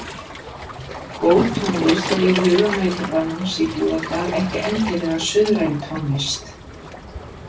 Góð tónlist er í huga nautabanans í Búðardal ekki endilega suðræn tónlist.